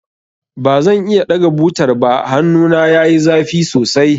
Ba zan iya ɗaga butar ba, hannun yayi zafi sosai.